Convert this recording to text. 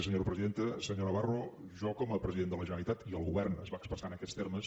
senyor navarro jo com a president de la generalitat i el govern es va expressar en aquests termes